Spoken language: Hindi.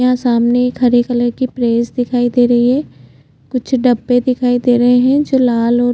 यह सामने एक हरे कलर कि प्रेस दिखाई दे रही है कुछ डब्बे दिखाई दे रहै है जो लाल--